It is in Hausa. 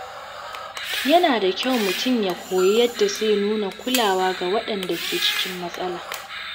Yana da kyau mutum ya koyi yadda zai nuna kulawa ga waɗanda ke cikin matsala.